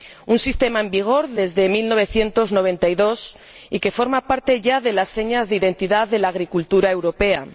un sistema en vigor desde 1992 y que ya forma parte de las señas de identidad de la agricultura europea.